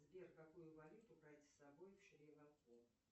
сбер какую валюту брать с собой в шри ланку